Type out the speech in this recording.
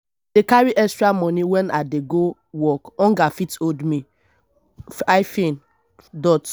i dey carry extra moni wen i dey go work hunger fit hold me.